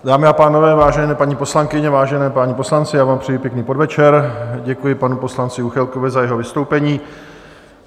Dámy a pánové, vážené paní poslankyně, vážení páni poslanci, já vám přeji pěkný podvečer, děkuji panu poslanci Juchelkovi za jeho vystoupení.